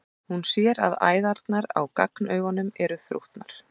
Hún sér að æðarnar á gagnaugunum eru þrútnar.